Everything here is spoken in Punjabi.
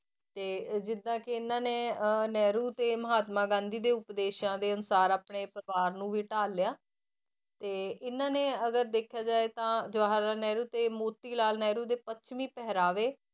ਤੇ ਜਿੱਦਾਂ ਕਿ ਇਹਨਾਂ ਅਹ ਨਹਿਰੂ ਤੇ ਮਹਾਤਮਾ ਗਾਂਧੀ ਦੇ ਉਪਦੇਸ਼ਾਂ ਦੇ ਅਨੁਸਾਰ ਆਪਣੇ ਪਰਿਵਾਰ ਨੂੰ ਵੀ ਢਾਲਿਆ, ਤੇ ਇਹਨਾਂ ਨੇ ਅਗਰ ਦੇਖਿਆ ਜਾਏ ਤਾਂ ਜਵਾਹਰ ਲਾਲ ਨਹਿਰੂ ਤੇ ਮੋਤੀ ਲਾਲ ਨਹਿਰੂ ਦੇ ਪੱਛਮੀ ਪਹਿਰਾਵੇ